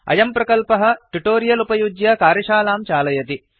अयं प्रकल्पः ट्युटोरियल उपयुज्य कार्यशालां चालयति